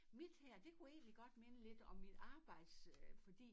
Mit her det kunne egentlig godt minde lidt om mit arbejds øh fordi